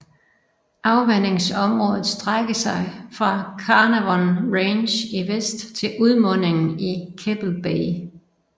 Afvandingsområdet strække sig fra Carnarvon Range i vest til udmundingen i Keppel Bay